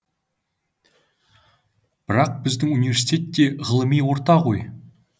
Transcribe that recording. бірақ біздің университет те ғылыми орта ғой